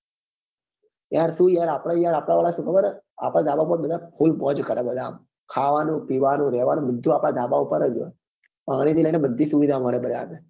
યાર શું આપડે શું યાર આપડે શું યાર ખાબર આપડાવાળા શું ખબર આપડે ધાબા પર બધા full મોજ કરે બધા આમ ખાવા નું પીવા નું રેવા નું બધું આપડે ધાબા પર હોય પાણી થી લઇ ને બધી સુવિધા મળે બરાબર હા હા